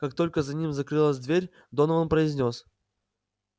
как только за ним закрылась дверь донован произнёс